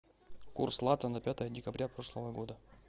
курс лата на пятое декабря прошлого года